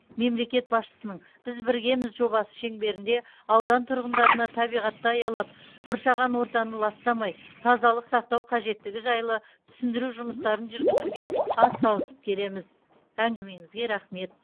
мемлекет басшысының біз біргеміз жобасы шеңберінде аудан тұрғындарына табиғатты аялап қоршаған ортаны ластамай тазалық сақтау қажеттігі жайлы түсіндіру жұмыстарын жүргізуге атсалысып келеміз әңгімеңізге рахмет